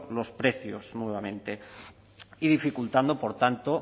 los precios nuevamente y dificultando por tanto